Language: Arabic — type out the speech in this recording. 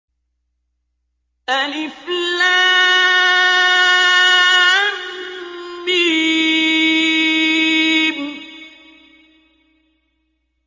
الم